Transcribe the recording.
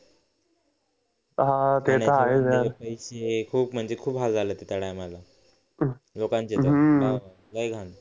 हे खूप म्हणजे खूप हाल झालेत त्या टायमाला लोकांचे तर लई घाण